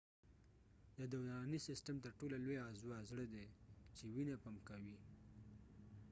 د دورانی سیستم تر ټو لو لويه عضوه زړه دي چې وينه پمپ کوي